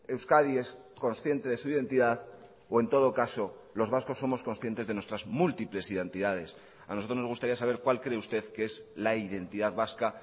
euskadi es consciente de su identidad o en todo caso los vascos somos conscientes de nuestras múltiples identidades a nosotros nos gustaría saber cuál cree usted que es la identidad vasca